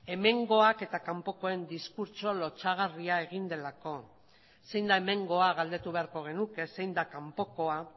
hemengoak eta kanpokoen diskurtso lotsagarria egin delako zein da hemengoa galdetu beharko genuke zein da kanpokoa